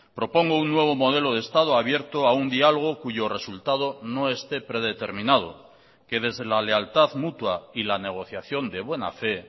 propongo un nuevo modelo de estado abierto a un diálogo cuyo resultado no esté predeterminado que desde la lealtad mutua y la negociación de buena fe